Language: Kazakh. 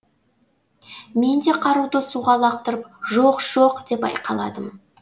мен де қаруды суға лақтырып жоқ жоқ деп айқайладым